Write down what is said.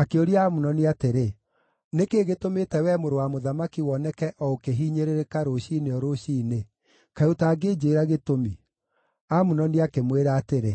Akĩũria Amunoni atĩrĩ, “Nĩ kĩĩ gĩtũmĩte wee mũrũ wa mũthamaki woneke o ũkĩhinyĩrĩrĩka rũciinĩ o rũciinĩ? Kaĩ ũtangĩnjĩĩra gĩtũmi?” Amunoni akĩmwĩra atĩrĩ,